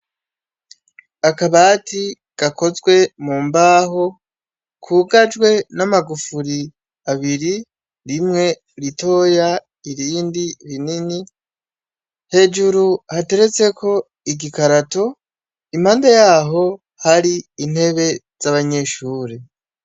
Akabati gakozwe mumbaho, kugajwe n'amagufuri abiri, rimwe ritoya ,irindi rinini , hejuru hateretseko igikarato, impande yaho, hari intebe z'abanyeshure